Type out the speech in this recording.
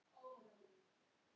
Endar sagan vel?